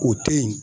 O te yen